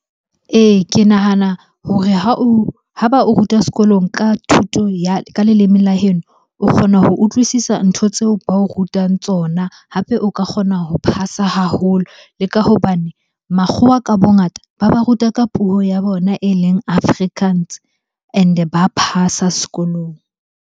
Ee, ke nahana hore ha o, ha ba o ruta sekolong ka thuto ya, ka leleme la heno. O kgona ho utlwisisa ntho tseo ba o rutang tsona, hape o ka kgona ho phasa haholo. Le ka hobane makgowa ka bongata, ba ba ruta ka puo ya bona e leng Afrikaans and-e ba phasa sekolong.